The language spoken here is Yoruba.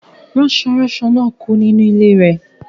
Ranso-ranso náà kú nínú ilé rẹ̀